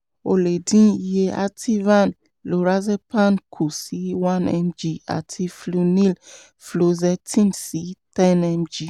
o lè dín iye ativan (lorazepam) kù sí 1 mg àti flunil (fluoxetine) sí 10 mg